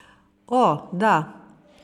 O, da.